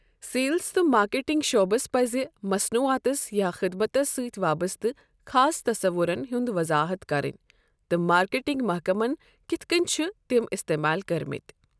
Sales تہٕ marketing شعبس پٕزِ مصنوعاتس یا خٔدمَتس سۭتۍ وابستہ خاص تَصَوُرَن ہنٛز وَضاحَت کَرٕنۍ تہٕ مارکیٹنگ محکَمَن کِتھ کٔنۍ چھِ تِم استعمال کٔرمٕتۍ۔